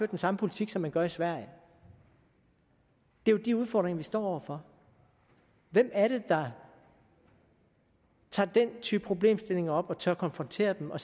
den samme politik som man gør i sverige det er jo de udfordringer vi står over for hvem er det der tager den type problemstillinger op og tør konfrontere dem og